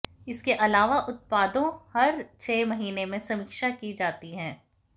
इसके अलावा उत्पादों हर छह महीने में समीक्षा की जाती है